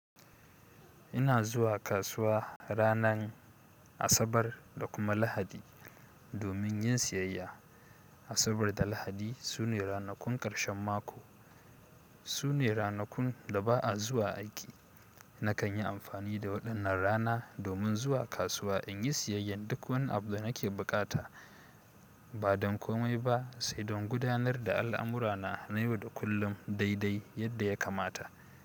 Ina zuwa kasuwa ranan, Asabar da kuma Lahadi domin yin siyayya. Asabar da lahadi sune ranakun karshen mako, sune ranakun da ba'a zuwa aiki. Nakan yi amfani da waɗannan rana domin zuwa kasuwa in yi siyayyar duk wani abu da nake buƙata, ba don komai ba sai don gudanar da al'amura na na yau da kullum daidai yadda ya kamata.